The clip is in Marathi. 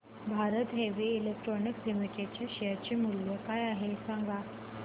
भारत हेवी इलेक्ट्रिकल्स लिमिटेड च्या शेअर चे मूल्य काय आहे सांगा